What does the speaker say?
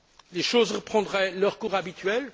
Les choses reprendraient leur cours habituel?